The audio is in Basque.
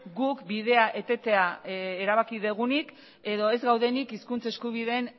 guk bidea etetea erabaki dugunik edo ez gaudenik hizkuntz eskubideen